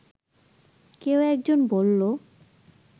কেউ একজন বললো